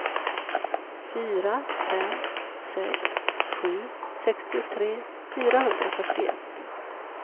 fyra fem sex sju sextiotre fyrahundrafyrtioett